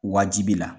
Wajibiya